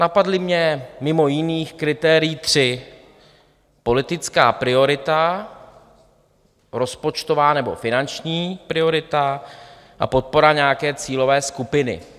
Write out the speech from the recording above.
Napadla mě mimo jiných kritérií tři: politická priorita, rozpočtová nebo finanční priorita a podpora nějaké cílové skupiny.